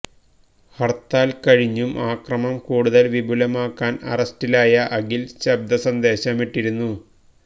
ഹർത്താൽ കഴിഞ്ഞും അക്രമം കൂടുതൽ വിപുലമാക്കാൻ അറസ്റ്റിലായ അഖിൽ ശബ്ദസന്ദേശമിട്ടിരുന്നു